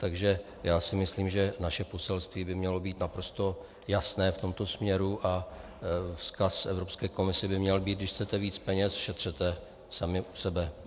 Takže já si myslím, že naše poselství by mělo být naprosto jasné v tomto směru a vzkaz Evropské komisi by měl být: když chcete víc peněz, šetřete sami u sebe.